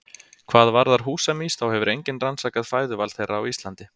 Hvað varðar húsamýs þá hefur enginn rannsakað fæðuval þeirra á Íslandi.